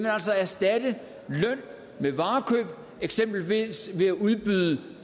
altså erstatte løn med varekøb ved eksempelvis at udbyde